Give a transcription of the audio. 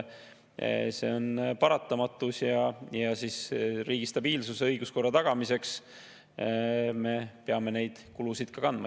See on paratamatus ning riigi stabiilsuse ja õiguskorra tagamiseks peame me neid kulusid kandma.